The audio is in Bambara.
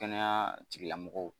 Kɛnɛya tigilamɔgɔw